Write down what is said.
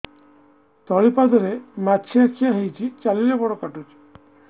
ତଳିପାଦରେ ମାଛିଆ ଖିଆ ହେଇଚି ଚାଲିଲେ ବଡ଼ କାଟୁଚି